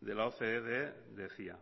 de la ocde decía